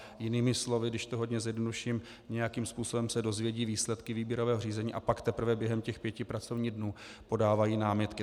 Jinými slovy, když to hodně zjednoduším, nějakým způsobem se dozvědí výsledky výběrového řízení, a pak teprve během těch pěti pracovních dnů podávají námitky.